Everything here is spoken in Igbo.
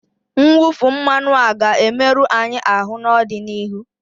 Mwụfu mmanụ a ga-emerụ anyị ahụ n'ọdịnihu